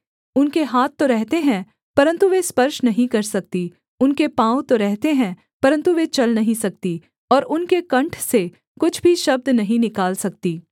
उनके हाथ तो रहते हैं परन्तु वे स्पर्श नहीं कर सकती उनके पाँव तो रहते हैं परन्तु वे चल नहीं सकती और उनके कण्ठ से कुछ भी शब्द नहीं निकाल सकती